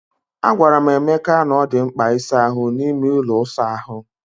Agwara m Emeka na ọ dị mkpa ịsa ahụ n'ime ụlọ ịsa ahụ.